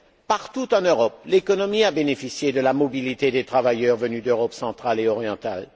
Partout en Europe, l'économie a bénéficié de la mobilité des travailleurs venus d'Europe centrale et orientale.